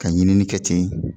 Ka ɲinini kɛ ten